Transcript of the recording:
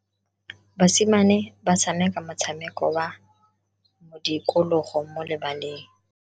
Basimane ba tshameka motshameko wa modikologo mo lebaleng.